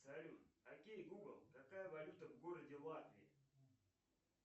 салют окей гугл какая валюта в городе латвии